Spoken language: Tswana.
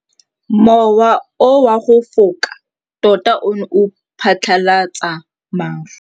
Mowa o wa go foka tota o ne wa phatlalatsa maru.